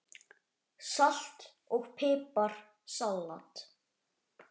Salt og pipar salat